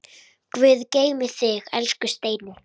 Guð geymi þig, elsku Steini.